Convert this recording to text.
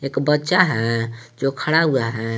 एक बच्चा है जो खड़ा हुआ है।